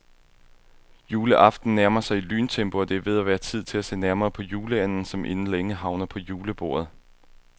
Juleaften nærmer sig i lyntempo, og det er ved at være tid til at se nærmere på juleanden, som inden længe havner på julebordet.